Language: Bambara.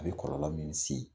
A bɛ kɔrlɔllɔ min se